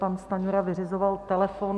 Pan Stanjura vyřizoval telefon.